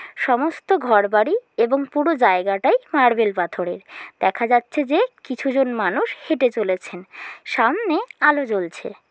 সমস্ত ঘরবাড়ি এবং পুরো জায়গাটাই মার্বেল পাথরের। দেখা যাচ্ছে যে কিছু জন মানুষ হেঁটে চলেছেন। সামনে-এ আলো জ্বলছে।